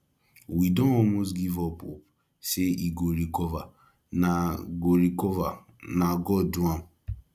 we don almost give up hope say he go recover na go recover na god do am